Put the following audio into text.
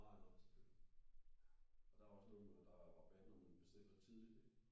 Nej nej selvfølgelig. Og der var også noget med at der er rabat hvis man bestiller tidlig ik?